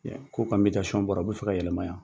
K' u ka bɔra u bɛ fɛ ka yɛlɛma yan